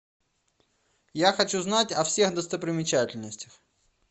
я хочу знать о всех достопримечательностях